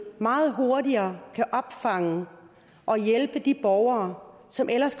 meget hurtigere kan opfange og hjælpe de borgere som ellers